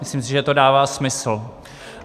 Myslím si, že to dává smysl.